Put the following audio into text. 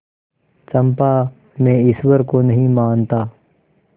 चंपा मैं ईश्वर को नहीं मानता